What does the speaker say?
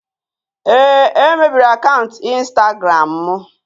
Ee, e mebiri akaụntụ Instagram m.